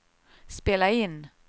spela in